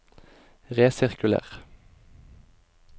resirkuler